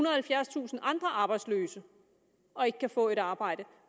og halvfjerdstusind andre arbejdsløse og ikke kan få et arbejde